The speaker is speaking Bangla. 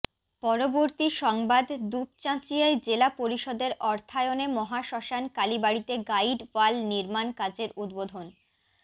পরবর্তী সংবাদ দুপচাঁচিয়ায় জেলা পরিষদের অর্থায়নে মহাশ্মশান কালীবাড়ীতে গাইড ওয়াল নির্মাণ কাজের উদ্বোধন